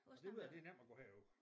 Og det ved jeg det er nemt at gå herud